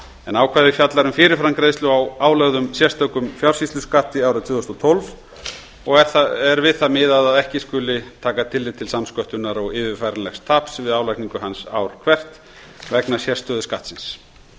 en ákvæðið fjallar um fyrirframgreiðslu á álögðum sérstökum fjársýsluskatti árið tvö þúsund og tólf og er við það miðað að ekki skuli taka tillit til samsköttunar og yfirfæranlegs taps við álagningu hans ár hvert vegna sérstöðu skattsins